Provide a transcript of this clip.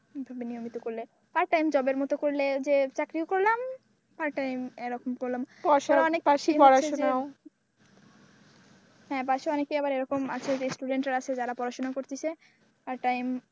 প্রথমে নিয়মিত করলে পার্ট টাইম জবের মতো করলে যে চাকরিও করলাম পার্ট টাইম এরকম করলাম পাশাপাশি পড়াশোনাও হ্যাঁ, পাশে আবার অনেকে এরকম আছে যে student আছে যারা পড়াশোনা করতেছে পার্ট টাইম,